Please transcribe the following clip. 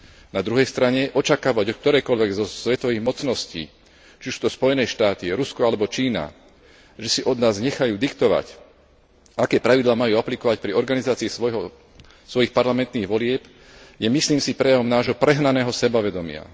Na druhej strane očakávať od ktorejkoľvek svetovej mocnosti, či už sú to Spojené štáty, Rusko alebo Čína, že si od nás nechajú diktovať, aké pravidlá majú aplikovať pri organizácii svojich parlamentných volieb, je, myslím si, prejavom nášho prehnaného sebavedomia.